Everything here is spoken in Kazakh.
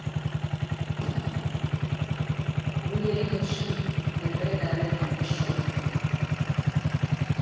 бұл еліміз үшін ірі әрі тұңғыш жоба